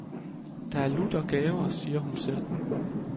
Det er lutter gaver, siger hun selv.